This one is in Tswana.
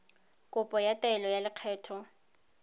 kopo ya taelo ya lekgetho